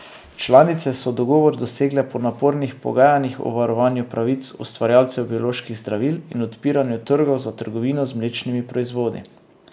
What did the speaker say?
Članice so dogovor dosegle po napornih pogajanjih o varovanju pravic ustvarjalcev bioloških zdravil in odpiranju trgov za trgovino z mlečnimi proizvodi.